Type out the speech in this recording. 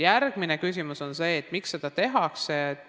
Järgmine küsimus on see, miks seda tehakse.